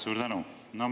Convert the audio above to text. Suur tänu!